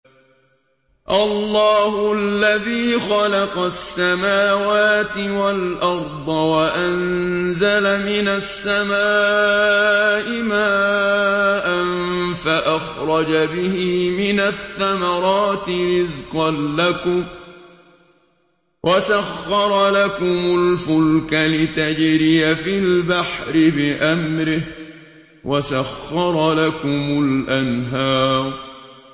اللَّهُ الَّذِي خَلَقَ السَّمَاوَاتِ وَالْأَرْضَ وَأَنزَلَ مِنَ السَّمَاءِ مَاءً فَأَخْرَجَ بِهِ مِنَ الثَّمَرَاتِ رِزْقًا لَّكُمْ ۖ وَسَخَّرَ لَكُمُ الْفُلْكَ لِتَجْرِيَ فِي الْبَحْرِ بِأَمْرِهِ ۖ وَسَخَّرَ لَكُمُ الْأَنْهَارَ